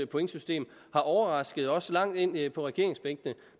pointsystem har overrasket også langt ind ind på regeringsbænkene